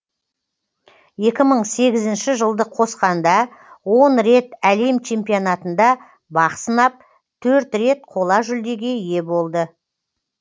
екі мың сегізінші жылды қосқанда он рет әлем чемпионатында бақ сынап төрт рет қола жүлдеге ие болды